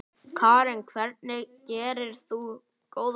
Karen: Hvernig gerðir þú góðverk?